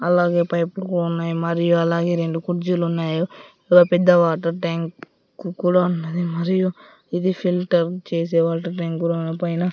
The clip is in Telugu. అలాగే పైపు ఉన్నాయి మరియు అలాగే రెండు కుర్జీలున్నాయి ఒగ పెద్ద వాటర్ ట్యాంక్ కు కూడా ఉన్నది మరియు ఇది ఫిల్టర్ చేసే వాటర్ ట్యాంక్ పైన--